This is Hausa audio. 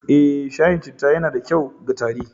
Eh, shayin citta yana da kyau ga tari